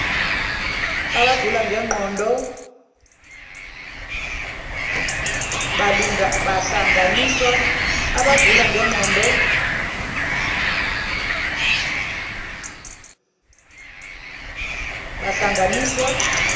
abagula ngengqondo luhlanganiswa